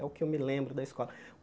É o que eu me lembro da escola.